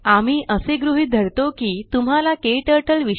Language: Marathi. आम्ही असे गृहीत करतो धरतो की तुम्हाला क्टर्टल